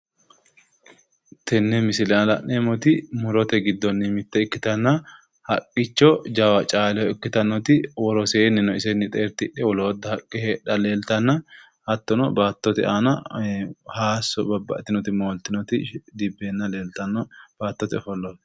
Tenne misile aana la'neemmoti murote giddonni mitte ikkitanna haqqicho jawa caaleho ikkitannoti woroseenni isenni xeertidhe woloota haqqe leeltanno hattono baattote aana hayisso babbaxxitinoti mooltinoti dibbeenna leeltanno baattote ofollooti